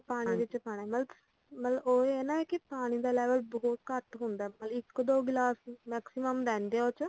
ਪਾਣੀ ਵਿੱਚ ਪਾਣਾ ਮਤਲੱਬ ਉਹ ਹੀ ਆ ਨਾ ਪਾਣੀ ਦਾ level ਬਹੁਤ ਘੱਟ ਹੁੰਦਾ ਮਤਲੱਬ ਇੱਕ ਦੋ ਗਲਾਸ ਹੀ maximum ਲੈਂਦੇ ਆ ਉਹਦੇ ਚ